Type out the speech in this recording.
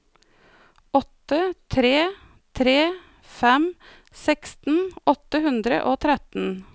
åtte tre tre fem seksten åtte hundre og tretten